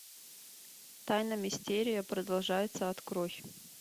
тайна мистерия продолжается открой